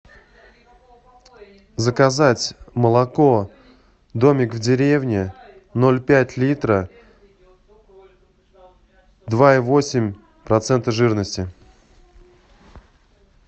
заказать молоко домик в деревне ноль пять литра два и восемь процента жирности